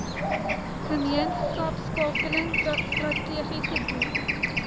gemeenskapskakeling strategiese doel